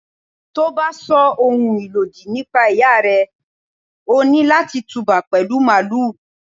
Tí o bá sọ ohun ìlòdì nípa Ìyá rẹ, o ní láti tú bá pẹ̀lú Màálù.